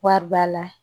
Wari b'a la